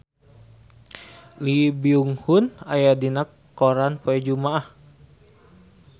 Lee Byung Hun aya dina koran poe Jumaah